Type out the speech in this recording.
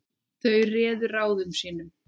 Þeir réðu ráðum sínum.